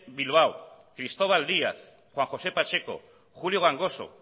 bilbao cristóbal díaz juan josé pacheco julio gangoso